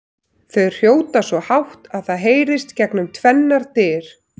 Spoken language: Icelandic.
Þau hrjóta svo hátt að það heyrist gegnum tvennar dyr!